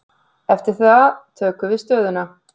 Eftir það tökum við stöðuna.